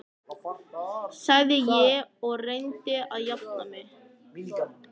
sagði ég og reyndi að jafna mig.